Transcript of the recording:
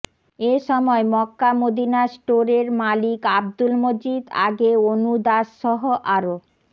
এ সময় Mecca Medina স্টোরের মালিক আব্দুল মজিদ আগে অনু দাসসহ আরো